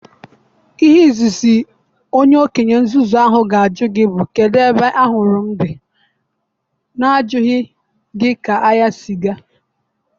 Ihe Izizi onye okenye nzuzu ahụ ga-ajụ gị bụ kedu ebe anwuru m dị na-ajụghị gị ka ahịa si ga.